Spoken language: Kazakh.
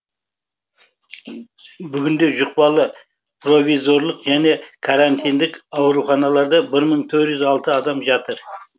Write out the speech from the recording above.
бүгінде жұқпалы провизорлық және карантиндік ауруханаларда бір мың төрт жүз алты адам жатыр